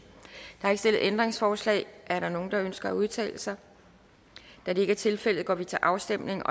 stillet ændringsforslag er der nogen der ønsker at udtale sig da det ikke er tilfældet går vi til afstemning